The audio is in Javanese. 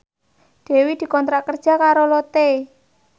Dewi dikontrak kerja karo Lotte